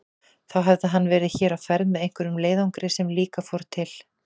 Þá hefði hann verið hér á ferð með einhverjum leiðangri sem líka fór til